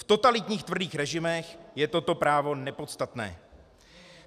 V totalitních tvrdých režimech je toto právo nepodstatné.